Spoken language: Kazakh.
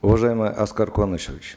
уважаемый аскар куанышевич